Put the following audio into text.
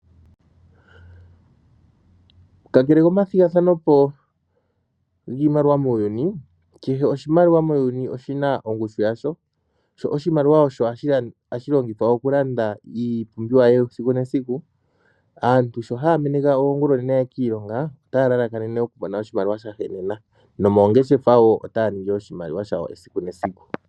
Kakele komathigathano po giimaliwa muuyuni, kehe oshimaliwa muuyuni oshina ongushu yasho sho oshimaliwa osho hashi longithwa iipumbiwa yesiku nesiku. Aantu sho haya meneka oongulonene yaye kiilongo otaya lalakanene okumona oshimaliwa shahenena nomoongeshefa wo otaya ningi oshimaliwa shawo esiku nesiku.